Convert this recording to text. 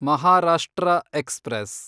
Maharashtra express